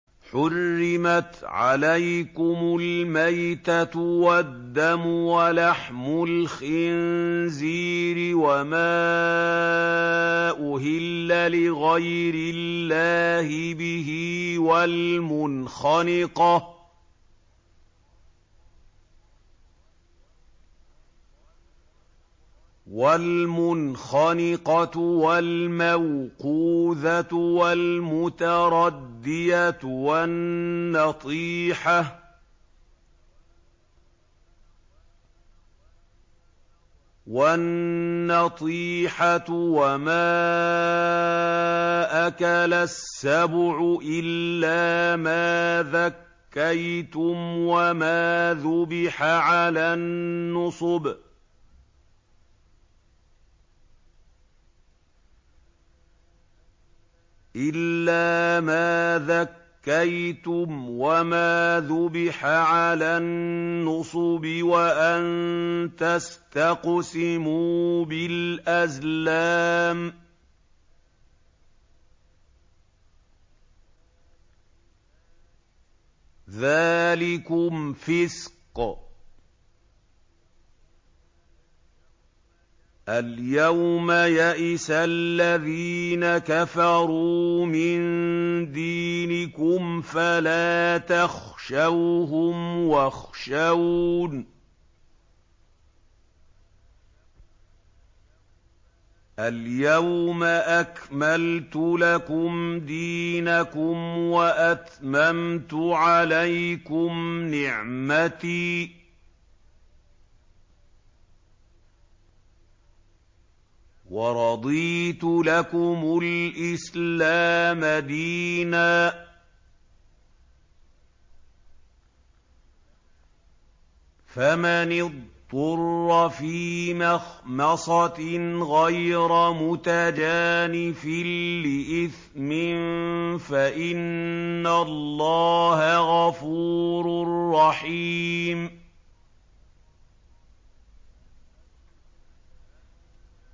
حُرِّمَتْ عَلَيْكُمُ الْمَيْتَةُ وَالدَّمُ وَلَحْمُ الْخِنزِيرِ وَمَا أُهِلَّ لِغَيْرِ اللَّهِ بِهِ وَالْمُنْخَنِقَةُ وَالْمَوْقُوذَةُ وَالْمُتَرَدِّيَةُ وَالنَّطِيحَةُ وَمَا أَكَلَ السَّبُعُ إِلَّا مَا ذَكَّيْتُمْ وَمَا ذُبِحَ عَلَى النُّصُبِ وَأَن تَسْتَقْسِمُوا بِالْأَزْلَامِ ۚ ذَٰلِكُمْ فِسْقٌ ۗ الْيَوْمَ يَئِسَ الَّذِينَ كَفَرُوا مِن دِينِكُمْ فَلَا تَخْشَوْهُمْ وَاخْشَوْنِ ۚ الْيَوْمَ أَكْمَلْتُ لَكُمْ دِينَكُمْ وَأَتْمَمْتُ عَلَيْكُمْ نِعْمَتِي وَرَضِيتُ لَكُمُ الْإِسْلَامَ دِينًا ۚ فَمَنِ اضْطُرَّ فِي مَخْمَصَةٍ غَيْرَ مُتَجَانِفٍ لِّإِثْمٍ ۙ فَإِنَّ اللَّهَ غَفُورٌ رَّحِيمٌ